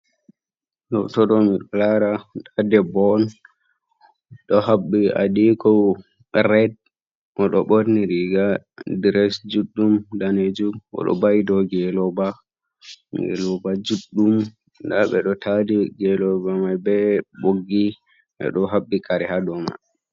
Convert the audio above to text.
Hoto ɗo miɗo lara nda ɗebbo on oɗo haɓɓi adiko red, oɗo ɓorni riga dres juɗɗum danejum, oɗo va'i dou ngeloba, ngeloba juɗɗum nda ɓe ɗo tadi ngeloba mai be ɓoggi be ɗo haɓɓi kare ha dou man.